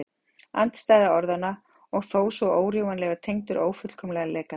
Andstæða orðanna og þó svo órjúfanlega tengdur ófullkomleika þeirra.